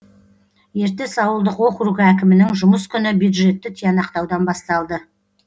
ертіс ауылдық округі әкімінің жұмыс күні бдюжетті тиянақтаудан басталды